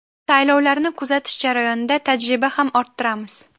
Saylovlarni kuzatish jarayonida tajriba ham orttiramiz.